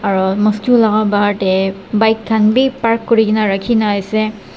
aro mosque laka bahar tae bike khan bi park kurikaena rakhi na ase.